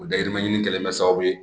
O dayirimɛ ɲini kɛlen bɛ kɛ sababu ye